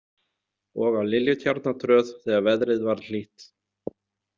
Og á Liljutjarnartröð þegar veðrið varð hlýtt.